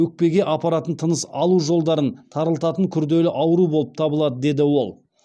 өкпеге апаратын тыныс алу жолдарын тарылтатын күрделі ауру болып табылады деді ол